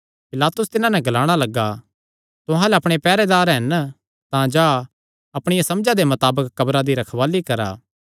पिलातुस तिन्हां नैं ग्लाणा लग्गा तुहां अल्ल अपणे पैहरेदार हन तां जा अपणिया समझा दे मताबक कब्रा दी रखवाल़ी करा